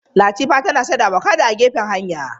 Latifa tana sayar da avakado a gefen hanya.